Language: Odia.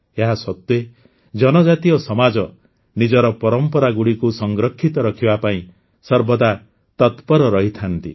ଏହାସତ୍ୱେ ଜନଜାତୀୟ ସମାଜ ନିଜର ପରମ୍ପରାଗୁଡ଼ିକୁ ସଂରକ୍ଷିତ ରଖିବା ପାଇଁ ସର୍ବଦା ତତ୍ପର ରହିଥାନ୍ତି